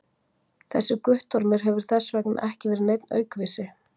Þessi Guttormur hefur þess vegna ekki verið neinn aukvisi!